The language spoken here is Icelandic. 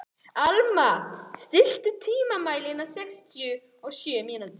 Alma, stilltu tímamælinn á sextíu og sjö mínútur.